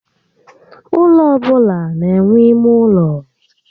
Ụlọ ọbụla n'enwe ímé ụlọ